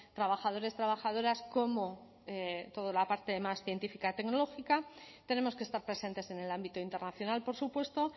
trabajadores trabajadoras como toda la parte más científica tecnológica tenemos que estar presentes en el ámbito internacional por supuesto